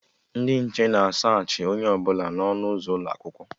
Ndị nche na a saachị onye ọbụla n'ọnụ ụzọ ụlọakwụkwọ